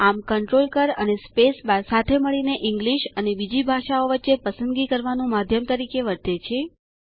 આમ કંટ્રોલ કળ અને સ્પેસ બાર સાથે મળીને ઈંગ્લીશ અને બીજી ભાષાઓ વચ્ચે પસંદગી કરવાનું માધ્યમ તરીકે વર્તે છે